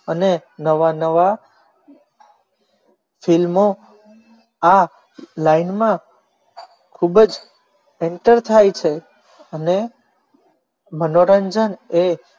અને નવા નવા film આ લાઈનમાં ખૂબ જ enter થાય છે અને મનોરંજન એ